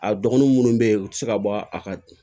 A dɔgɔnunw munnu be yen u ti se ka bɔ a ka